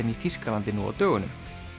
í Þýskalandi nú á dögunum